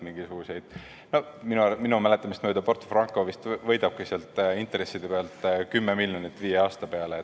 Minu minu mäletamist mööda Porto Franco võidabki sealt intresside pealt 10 miljonit viie aasta peale.